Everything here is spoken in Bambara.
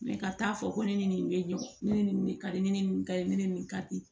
ka taa fɔ ko ne ni nin bɛ ɲɔgɔn ne nin de ka di ne ye nin ka ɲi ne ni nin ka di